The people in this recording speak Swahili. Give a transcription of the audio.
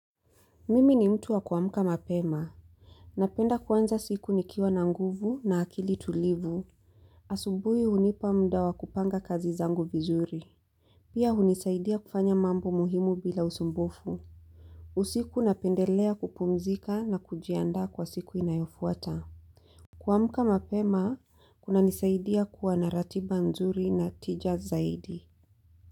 Mimi ni mtu wa kuamka mapema. Napenda kwanza siku nikiwa na nguvu na akili tulivu. Asubui hunipa mda wa kupanga kazi zangu vizuri. Pia hunisaidia kufanya mambo muhimu bila usumbufu. Usiku napendelea kupumzika na kujianda kwa siku inayofuata. Kuamka mapema, kuna nisaidia kuwa na ratiba nzuri na tija zaidi.